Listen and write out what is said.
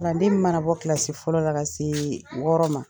Kalanden min mana bɔ kilasi fɔlɔ la ka se wɔɔrɔnan ma.